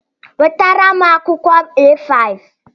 Wetara m akwụkwọ A5!